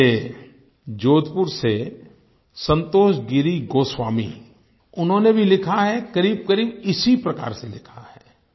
मुझे जोधपुर से संतोष गिरि गोस्वामी उन्होंने भी लिखा है करीबकरीब इसी प्रकार से लिखा है